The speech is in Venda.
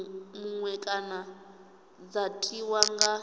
muṅwe kana dza tiwa nga